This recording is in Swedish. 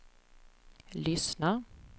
lyssnar